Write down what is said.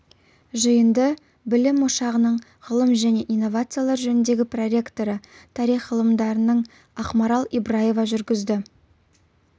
жиынды білім ошағының ғылым және инновациялар жөніндегі проректоры тарих ғылымдарының ақмарал ибраева жүргізді